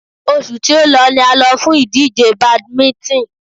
Oṣù tí o lọ ni a lọ fún ìdíje badminton.